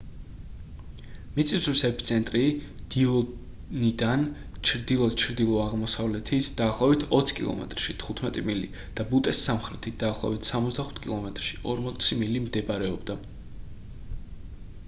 მიწისძვრის ეპიცენტრი დილონიდან ჩრდილო-ჩრდილო-აღმოსავლეთით დაახლოებით 20 კილომეტრში 15 მილი და ბუტეს სამხრეთით დაახლოებით 65 კილომეტრში 40 მილი მდებარეობდა